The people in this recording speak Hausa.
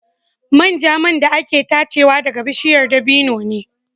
Manja man da ake tachewa ɗaga bishiyar dabino ne.